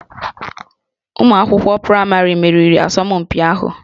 Ụmụ akwụkwọ praịmarị meriri n'asọmpi ahụ